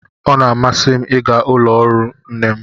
Ọ na-amasị m ịga ụlọ ọrụ nne m